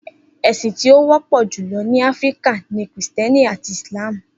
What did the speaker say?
Esin ti o wọpọ julọ ni Afirika ni Kristiẹniti ati Islam.